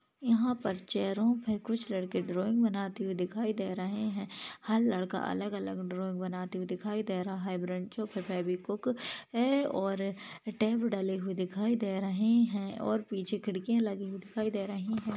यहा पर चेअर पे कुच लड़के ड्रौइंग बताने हुए दिखाई दे रहे है हर लड़का अलग अलग ड्रौइंग बनाते हुए दिखाई दे रहा है बँचो पे फेवीक्विक है और टेप डले हुए दिखाई दे रहे है और पिछे खिड़कीया लगी दिखाई दे रही है।